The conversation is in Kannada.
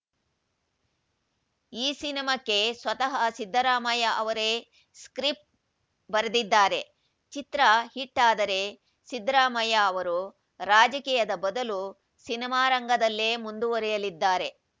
ಈ ಸಿನಿಮಾಕ್ಕೆ ಸ್ವತಃ ಸಿದ್ದರಾಮಯ್ಯ ಅವರೇ ಸ್ಕಿರಪ್ಟ‌ ಬರೆದಿದ್ದಾರೆ ಚಿತ್ರ ಹಿಟ್‌ ಆದರೆ ಸಿದ್ದರಾಮಯ್ಯ ಅವರು ರಾಜಕೀಯದ ಬದಲು ಸಿನಿಮಾರಂಗದಲ್ಲೇ ಮುಂದುವರೆಯಲಿದ್ದಾರೆ